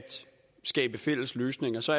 skabe fælles løsninger så